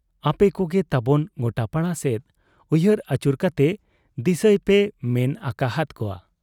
ᱟᱯᱮᱠᱚᱜᱮ ᱛᱟᱵᱚᱱ ᱜᱚᱴᱟᱯᱟᱲᱟ ᱥᱮᱫ ᱩᱭᱦᱟᱹᱨ ᱟᱹᱪᱩᱨ ᱠᱟᱛᱮ ᱫᱤᱥᱟᱹᱭᱯᱮᱭ ᱢᱮᱱ ᱟᱠᱟ ᱦᱟᱫ ᱠᱚᱣᱟ ᱾